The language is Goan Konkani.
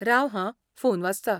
राव हां, फोन वाजता.